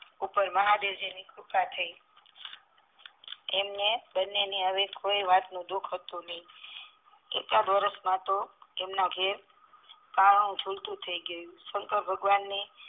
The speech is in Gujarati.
ઉપર મહાદેવજી ની કૃપા થઈ એમને બન્ને કોઈ વાતનું દુખ હતું નહીં એકાદ વરસ માં તો એમ ના ધેર પારણું ઝુલતું થઇગયું શંકર ભગવાન ને